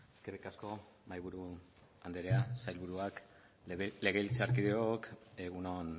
eskerrik asko mahaiburu andrea ssailburuak legebiltzarkideok egun on